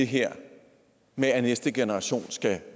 her med at næste generation skal